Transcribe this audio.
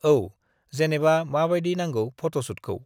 औ जेनेबा माबायदि नांगौ फट'शुटखौ?